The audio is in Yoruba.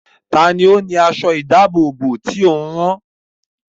Ta ni ó ni aṣọ-ìdáàbòbò tí ò ń rán?